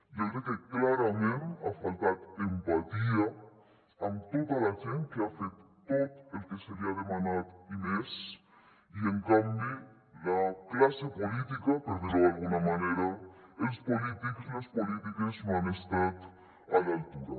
jo crec que clarament ha faltat empatia amb tota la gent que ha fet tot el que se li ha demanat i més i en canvi la classe política per dir ho d’alguna manera els polítics les polítiques no han estat a l’altura